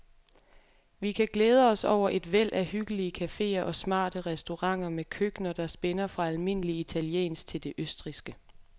Vi kan glæde os over et væld af hyggelige caféer og smarte restauranter med køkkener, der spænder fra almindelig italiensk til det østrigske.